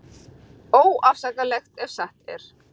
Óafsakanlegt ef satt er